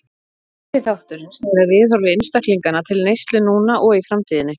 Fyrri þátturinn snýr að viðhorfi einstaklinganna til neyslu núna og í framtíðinni.